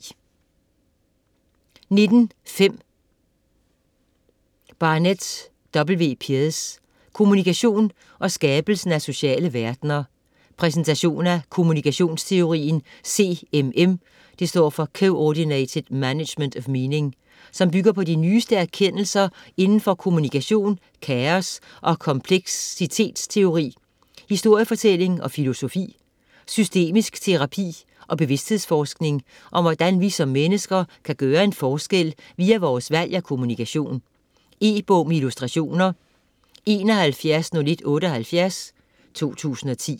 19.5 Pearce, W. Barnett: Kommunikation og skabelsen af sociale verdener Præsentation af kommunikationsteorien CMM (Coordinated Management of Meaning), som bygger på de nyeste erkendelser inden for kommunikation, kaos- og kompleksitetsteori, historiefortælling og filosofi, systemisk terapi og bevidsthedsforskning, og om hvordan vi som mennesker kan gøre en forskel via vores valg af kommunikation. E-bog med illustrationer 710178 2010.